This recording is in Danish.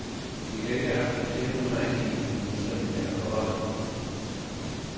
Vi kan ikke acceptere huslejestigningen, som vi finder for høj.